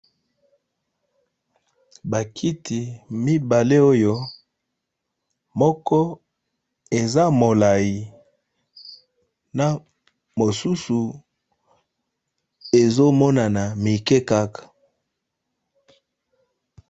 Ba kiti mibale oyo moko eza molayi na mosusu ezo monana mike kaka .